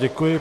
Děkuji.